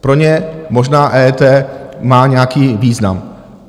Pro ně možná EET má nějaký význam.